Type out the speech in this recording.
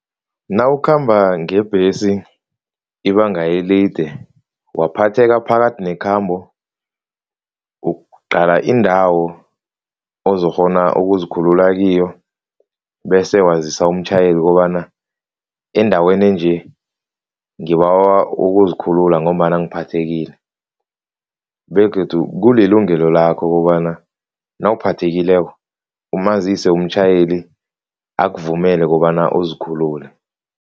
Nawukhamba ngebhesi ibanga elide waphatheka phakathi nekhambo, uqala indawo ozokghona ukuzikhulula kiyo bese wazisa umtjhayeli ukobana endaweni enje, ngibawa ukuzikhulula ngombana ngiphathekile begodu kulilungelo lakho kobana nawuphathekileko umazise umtjhayeli akuvumela kobana uzikhulule.